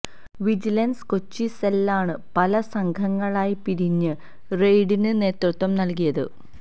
vigilance Kochi സെല്ലാണ് പല സംഘങ്ങളായി പിരിഞ്ഞ് റെയ്ഡിന് നേതൃത്വം നൽകിയത്